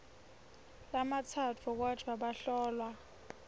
lamatsatfu kodvwa bahlolwa